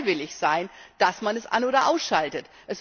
Es soll freiwillig sein, dass man es an oder ausschaltet.